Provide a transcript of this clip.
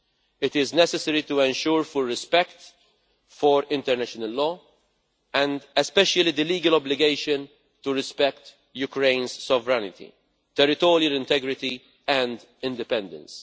It is necessary to ensure full respect for international law, and especially the legal obligation to respect Ukraine's sovereignty, territorial integrity and independence.